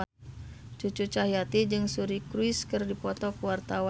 Cucu Cahyati jeung Suri Cruise keur dipoto ku wartawan